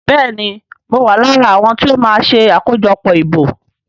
Béèni mọ ma wá lára àwọn tíó ma ṣe akojọpọ ìbò.